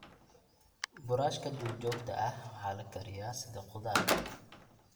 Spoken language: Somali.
Buurashka duurjoogta ah waa la kariyaa sida khudaar.